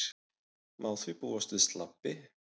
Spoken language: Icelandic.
Má því búast við slabbi